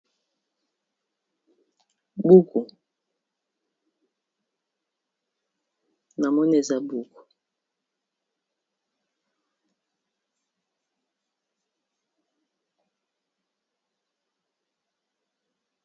Buku namoni eza buku.